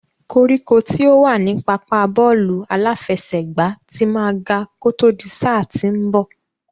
Koríko tí ó wà ní pápá bọ́ọ̀lù aláfẹsẹ̀gbá ti máa ga kó tó di sáà tí ń bọ̀.